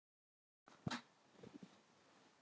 Það er best að ég fari með ykkur svona.